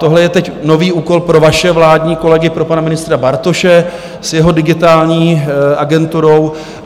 Tohle je teď nový úkol pro vaše vládní kolegy, pro pana ministra Bartoše s jeho Digitální agenturou.